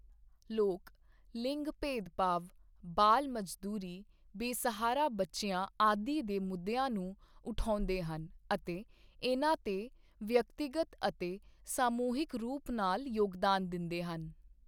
ਲਿੰਗ ਲਿੰਗਗ ਭੇਦਭਾਵ ਬਾਲ ਮਜ਼ਦੂਰੀ ਬੇਸਹਾਰਾ ਬੱਚਿਆਂ ਆਦਿ ਦੇ ਮੁੱਦਿਆਂ ਨੂੰ ਉਠਾਉਂਦੇ ਹਨ ਅਤੇ ਇਨਾਂ ਤੇ ਵਿਅਕਤੀਗਤ ਅਤੇ ਸਮੂਹਿਕ ਰੂਪ ਨਾਲ ਯੋਗਦਾਨ ਦਿੰਦੇ ਹਨ।